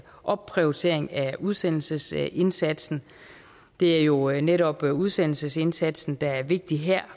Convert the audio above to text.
opprioritering af udsendelsesindsatsen det er jo jo netop udsendelsesindsatsen der er vigtig her